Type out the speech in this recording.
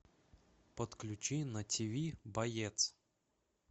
подключи на тв боец